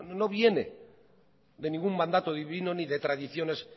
no viene de ningún mandato divino ni de tradiciones